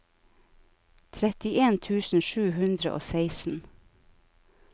trettien tusen sju hundre og seksten